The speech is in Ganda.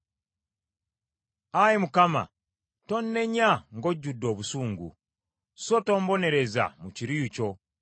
Ayi Mukama , tonnenya ng’ojjudde obusungu; so tombonereza mu kiruyi kyo.